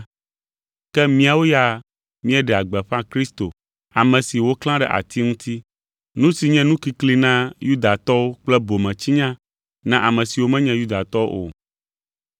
ke míawo ya míeɖea gbeƒã Kristo, ame si woklã ɖe ati ŋuti, nu si nye nukikli na Yudatɔwo kple bometsinya na ame siwo menye Yudatɔwo o,